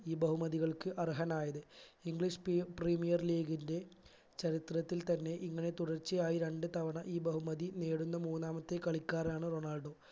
ഈ ബഹുമതികൾക്ക് അർഹനായത് english p premier league ന്റെ ചരിത്രത്തിൽ തന്നെ ഇങ്ങനെ തുടർച്ചയായി രണ്ടുതവണ ഈ ബഹുമതി നേടുന്ന മൂന്നാമത്തെ കളിക്കാരനാണ് റൊണാൾഡോ